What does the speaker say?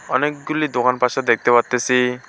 অনেকগুলি দোকান পাশে দেখতে পারতেসি।